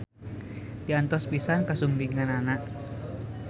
Diantos pisan kasumpinganana.